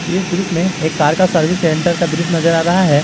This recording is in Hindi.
इस दृश्य में एक कार का सर्विस सेंटर का दृश्य नजर आ रहा है।